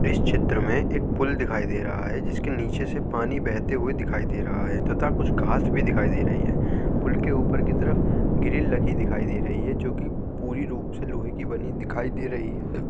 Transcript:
इस चित्र में एक पूल दिखाई दे रहा है। जिसके नीचे से पानी बहते हुए दिखाई दे रहा है तथा कुछ घास भी दिखाई दे रही है। पूल के ऊपर की तरफ ग्रील लगी दिखाई दे रही है जो की पूरी रूप से लोहे की बनी दिखाई दे रही है।